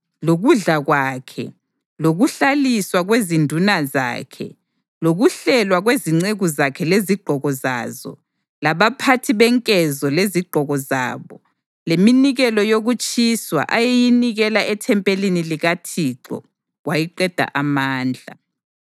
lokudla kwakhe, lokuhlaliswa kwezinduna zakhe, lokuhlelwa kwezinceku zakhe lezigqoko zazo, labaphathi benkezo lezigqoko zabo, leminikelo yokutshiswa ayeyinikela ethempelini likaThixo, kwayiqeda amandla.